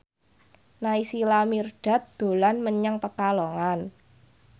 Naysila Mirdad dolan menyang Pekalongan